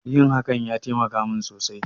Yin hakan ya taimaka mun sosai